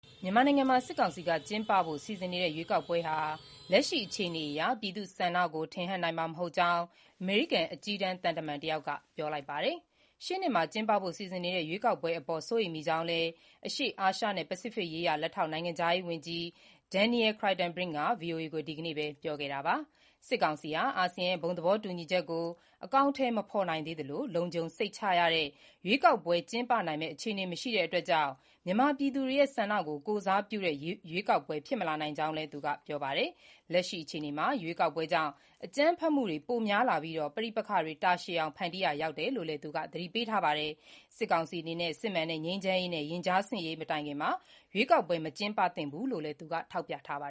မြန်မာနိုင်ငံမှာ စစ်ကောင်စီက ကျင်းပဖို့ စီစဉ်နေတဲ့ ရွေးကောက်ပွဲဟာ လက်ရှိအခြေအနေအရ ပြည်သူ့ဆန္ဒကို ထင်ဟပ်နိုင်မှာ မဟုတ်ကြောင်း အမေရိကန် အကြီးတန်းသံတမန်တယောက်က ပြောလိုက်ပါတယ်။ ရှေ့နှစ်ထဲ ကျင်းပဖို့ စီစဉ်နေတဲ့ ရွေးကောက်ပွဲတွေအပေါ် စိုးရိမ်မိကြောင်းလည်း အရှေ့အာရှနဲ့ ပစိဖိတ်ရေးရာ လက်ထောက် နိုင်ငံခြားရေးဝန်ကြီး Daniel Kritenbrink က VOA ကို ဒီနေ့ပဲ ပြောခဲ့တာပါ။ စစ်ကောင်စီဟာ အာဆီယံရဲ့ ဘုံသဘောတူညီချက်ကို အကောင်အထည်မဖော်နိုင်သေးသလို လုံခြုံစိတ်ချရတဲ့ ရွေးကောက်ပွဲကျင်းပနိုင်မယ့် အခြေအနေမရှိတာကြောင့်မြန်မာပြည်သူတွေရဲ့ ဆန္ဒကို ကိုယ်စားပြုတဲ့ ရွေးကောက်ပွဲဖြစ်မလာနိုင်ကြောင်းလည်း ပြောပါတယ်။ လက်ရှိ အခြေအနေမှာ ရွေးကောက်ပွဲကြောင့် အကြမ်းဖက်မှုတွေ ပိုများလာပြီး၊ ပဋိပက္ခတွေ တာရှည်အောင် ဖန်တီးရာရောက်နိုင်တယ်လို့လည်း သတိပေးခဲ့တာပါ။ စစ်ကောင်စီအနေနဲ့စစ်မှန်တဲ့ ငြိမ်းချမ်းရေးနဲ့ ရင်ကြားစေ့ရေး မတိုင်ခင်မှာ ရွေးကောက်ပွဲတွေ မကျင်းပသင့်ကြောင်းလည်း သူက ထောက်ပြထားပါ